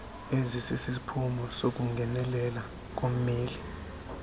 ezisisiphumo sokungenelelela kommeli